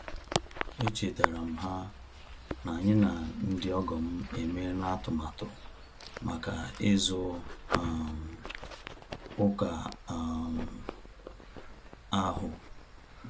E chetara m ha na-anyị na ndị ọgọ m emela atụmatụ maka ịzụ um ụka um ahu